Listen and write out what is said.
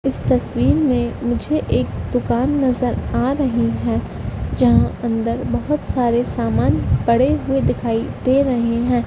इस तस्वीर में मुझे एक दुकान नज़र आ रही है जहाँ अंदर बहुत सारे सामान पड़े हुए दिखाई दे रहे हैं।